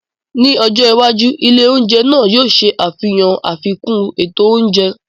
Ní ọjọ́ iwájú, ilé oúnjẹ náà yóò ṣe àfihàn àfikún ètò oúnjẹ.